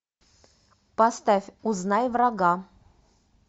поставь узнай врага